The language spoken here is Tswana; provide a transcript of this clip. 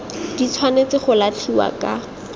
di tshwanetse go latlhiwa ka